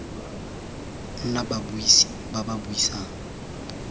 nna babuisi ba ba buisang